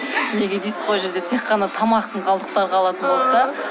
неге дейсіз ғой ол жерде тек қана тамақтың қалдықтары қалатын болды да